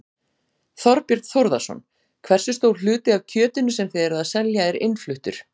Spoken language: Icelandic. Þorbjörn Þórðarson: Hversu stór hluti af kjötinu sem þið eruð að selja er innfluttur?